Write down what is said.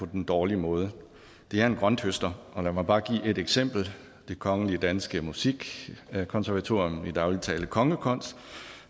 den dårlige måde det er en grønthøster og lad mig bare give et eksempel det kongelige danske musikkonservatorium i daglig tale kongekons